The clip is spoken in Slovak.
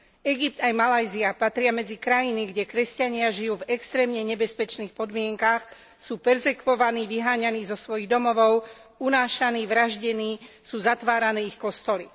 Egypt aj Malajzia patria medzi krajiny, kde kresťania žijú v extrémne nebezpečných podmienkach, sú perzekvovaní, vyháňaní zo svojich domovov, unášaní, vraždení, sú zatvárané ich kostoly.